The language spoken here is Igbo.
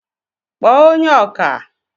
kpọọ onye ọkà!